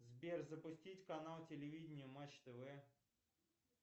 сбер запустить канал телевидение матч тв